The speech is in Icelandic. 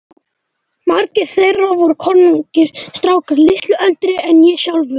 Margir þeirra voru kornungir strákar, litlu eldri en ég sjálfur.